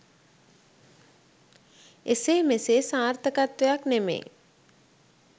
එසේ මෙසේ සාර්ථකත්වයක් නෙමෙයි